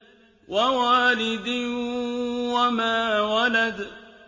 وَوَالِدٍ وَمَا وَلَدَ